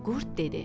Qurd dedi: